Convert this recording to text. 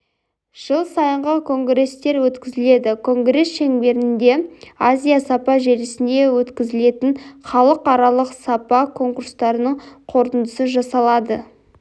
жыл сайынғы конгрестер өткізіледі конгресс шеңберінде азия сапа желісінде өткізілетін халықаралық сапа конкурстарының қорытындысы жасалады